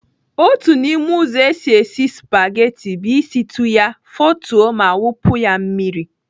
Otu n'ime ụzọ esi esi spageti bụ ịsịtụ ya, fotuo ma wụpụ ya mmiri.